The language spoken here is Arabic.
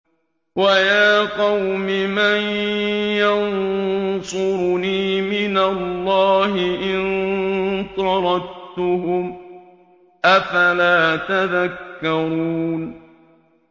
وَيَا قَوْمِ مَن يَنصُرُنِي مِنَ اللَّهِ إِن طَرَدتُّهُمْ ۚ أَفَلَا تَذَكَّرُونَ